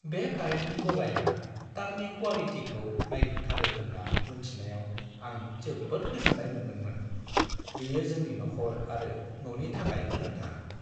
बे कारेन्टनि गलाया तारनि क्वालिटिखौ नायग्रोथारो होन्ना मोन्थिनायाव आं जोबोद गोजोन्नाय मोनदोंमोन। बेयो जोंनि नखर आरो न'नि थाखाय गोनांथार।